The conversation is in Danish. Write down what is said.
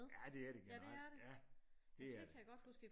Ja det er det generelt ja det er det